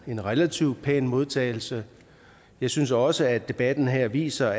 en relativt pæn modtagelse jeg synes også at debatten her viser